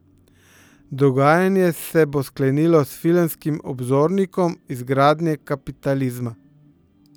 Dogajanje se bo sklenilo s Filmskim obzornikom izgradnje kapitalizma.